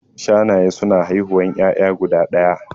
Shanaye suna haihuwan ƴaƴa guda ɗaya